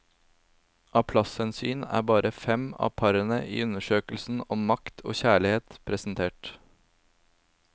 Av plasshensyn er bare fem av parene i undersøkelsen om makt og kjærlighet presentert.